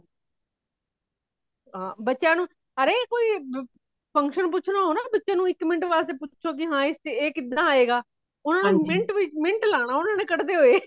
ਹਾਂ , ਬੱਚਿਆਂ ਨੂੰ , ਅਰੇ ਕੋਈ function ਪੁੱਛਣਾ ਹੋ ਨਾ ਬੱਚਿਆਂ ਨੂੰ ,ਇਕ minute ਵਾਸਤੇ ਕੀ ਇਹ ਕਿਦਾਂ ਆਏਗਾ ਓਨਾ ਨੇ minute ਵੀ minute ਲਾਨਾ ਉਨ੍ਹਾਂਨੇ ਕੱਢਦੇ ਹੋਈ